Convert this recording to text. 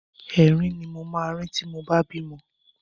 Ẹ̀rín ni mo máa rín tí mo bá bímọ.